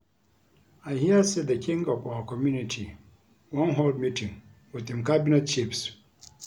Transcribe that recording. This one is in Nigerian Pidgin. I hear say the King of our community wan hold meeting with im cabinet Chiefs